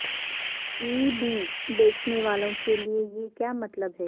E B بیچنے والوں کے لئے یہ کیا مطلب ہے